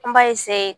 An b'a